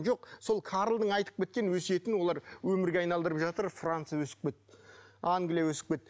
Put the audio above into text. жоқ сол карлдың айтып кеткен өсиетін олар өмірге айналдырып жатыр франция өсіп кетті англия өсіп кетті